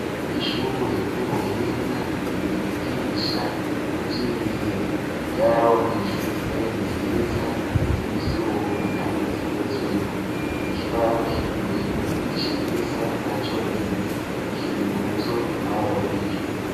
Ishure ry'ubuhinga ryigisha ivyi ndimi ryaronkejwe intebe nziza zivyuma kandi zigezweho ikibaho kiri mbere ciza na conyene kiri muvyo baronkejwe.